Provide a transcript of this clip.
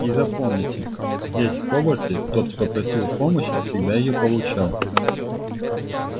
и запомните здесь в хогвартсе тот кто просил помощи всегда её получал